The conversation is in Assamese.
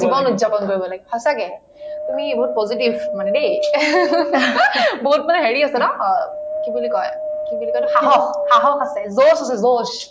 জীৱন উত্‍যাপন কৰিব লাগে সঁচাকে তুমি বহুত positive মানে দেই বহুত মানে হেৰি আছে ন কি বুলি কই কি বুলি কই এইটো সাহস সাহস আছে josh আছে josh